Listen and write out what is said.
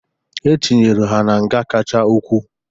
E tinyere ha na nga kacha ukwu.